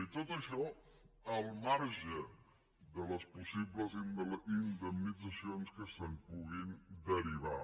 i tot això al marge de les possibles indemnitzacions que se’n puguin derivar